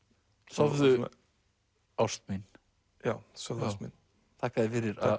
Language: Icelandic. sofðu ást mín já sofðu ást mín þakka þér fyrir